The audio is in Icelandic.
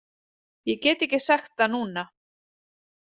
Ég get ekki sagt það núna.